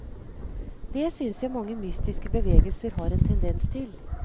Det synes jeg mange mystiske bevegelser har en tendens til.